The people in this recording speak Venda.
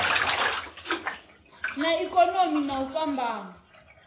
na ikonomi na u fhambana